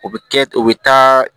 O bɛ kɛ o bɛ taa